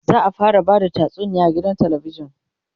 za'a fara Bada tatsuniya a gidan talabijan